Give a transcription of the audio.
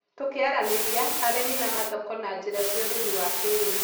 Tũkĩaranĩria, arĩmi na mathoko na njĩra cia ũrĩmi wa kĩrĩu,